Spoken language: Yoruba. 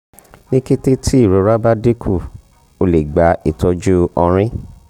ni kete ti irora ba dinku o le gba itọju ọrin